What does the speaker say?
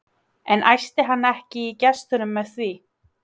En æsti hann ekki í gestunum með því?